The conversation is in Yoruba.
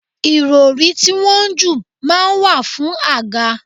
Irori tí wọ́n ń jù máa ń wà fún àga.